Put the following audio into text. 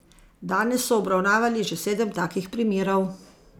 Danes so obravnavali že sedem takih primerov.